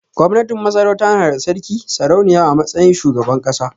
Gwamnatin Masarauta na da Sarki/Sarauniya a matsayin shugaban ƙasa.